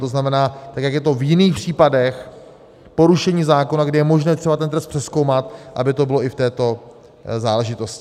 To znamená, tak jak je to v jiných případech porušení zákona, kde je možné třeba ten trest přezkoumat, aby to bylo i v této záležitosti.